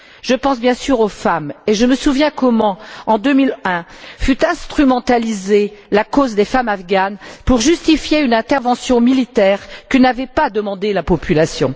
Je pense bien sûr aux femmes et je me souviens comment, en 2001, fut instrumentalisée la cause des femmes afghanes pour justifier une intervention militaire que n'avait pas demandée la population.